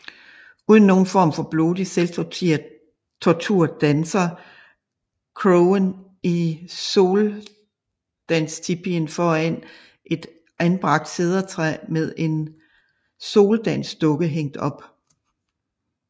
Uden nogen form for blodig selvtortur dansede crowen i soldanstipien foran et anbragt cedertræ med en soldansdukke hængt op